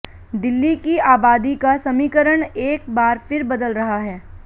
दिल्ली की आबादी का समीकरण एक बार फिर बदल रहा है